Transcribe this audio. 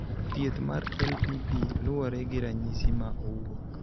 Thieth mar LPP luwore gi ranyisi ma owuok.